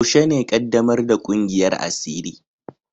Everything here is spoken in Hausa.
Yaushe ne ƙaddamar ƙungiyar asiri?